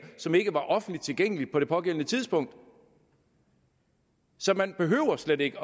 som ikke var offentligt tilgængeligt på det pågældende tidspunkt så man behøver slet ikke